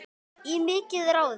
Í mikið ráðist